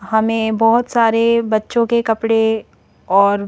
हमें बहुत सारे बच्चों के कपड़े और--